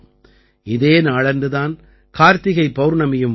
இதே நாளன்று தான் கார்த்திகை பௌர்ணமியும் வருகிறது